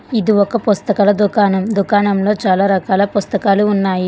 ఇది ఒక పుస్తకాల దుకాణం దుకాణంలో చాలా రకాల పుస్తకాలు ఉన్నాయి.